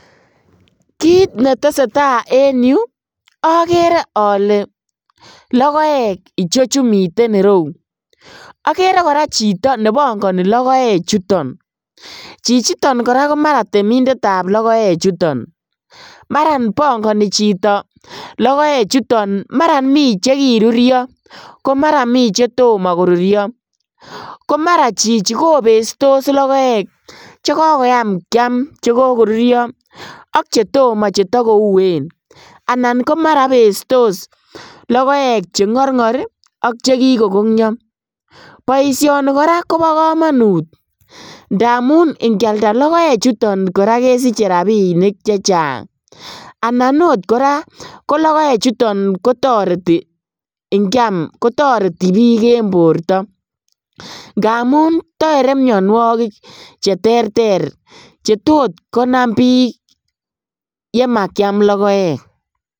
Kit netesee taa en yu okere ole logoek ichechu miten ireu, okere koraa chito nebongoni lagoechuton, chichiton koraa komaran temindetab logoechuton maran bongoni chito logoechuton maran mi chekirurio komara mi chetomo korurio, komara chichi kobestos logoek chon kokoyam kiam chon kokorurio ak chetomo chetokouen, anan komaran ibestos logoek chengorngor ak chekikokongio, boisioni koraa kobokomonut ndamun ikialda logoechuton koraa kesiche rabinik chechang anan oot koraa kologoechuton kotoreti inkiam kotoreti bik en borto ngamun tere mionuokik cheterter chetot konam bik yemakiam logoek.